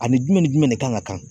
Ani jumɛn ni jumɛn de kan ka kan